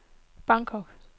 Bangkok